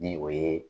Ni o ye